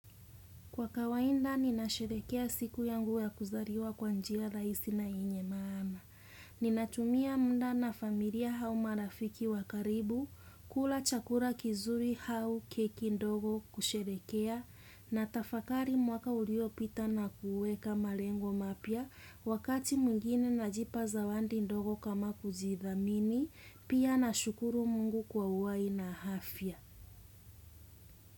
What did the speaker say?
Kwa kawaida, ninasherehekea siku yangu ya kuzaliwa kwa njia rahisi na yenye maana. Ninatumia muda na familia au marafiki wa karibu, kula chakula kizuri au keki ndogo kusherehekea, natafakari mwaka uliopita na kuweka malengo mapya, wakati mwingine najipa zawadi ndogo kama kuzidhamini, pia nashukuru mungu kwa uhai na afya.